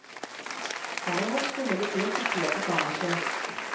Derimot skulle det bli et oppgjør på kammerset.